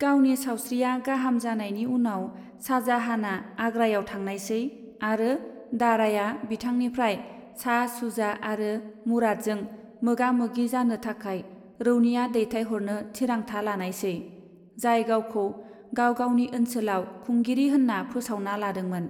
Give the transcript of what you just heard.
गावनि सावस्रिआ गाहाम जानायनि उनाव, शाहजाहानआ आग्रायाव थांनायसै आरो दाराया बिथांनिफ्राय शाह शुजा आरो मुरादजों मोगा मोगि जानो थाखाय रौनिया दैथायहरनो थिरांथा लानायसै, जाय गावखौ गाव गावनि औनसोलाव खुंगिरि होन्ना फोसावना लादोंमोन।